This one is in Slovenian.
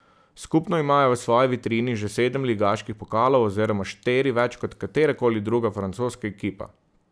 Skupno imajo v svoji vitrini že sedem ligaških pokalov oziroma štiri več kot katera koli druga francoska ekipa.